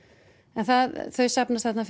en þau safnast þarna